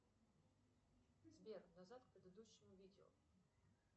сбер назад к предыдущему видео